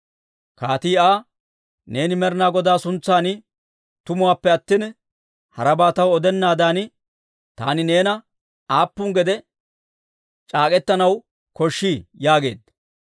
Kaatii Aa, «Neeni Med'inaa Godaa suntsan tumuwaappe attina, harabaa taw odennaadan taani neena aappun gede c'aak'k'etanaw koshshii?» yaageedda.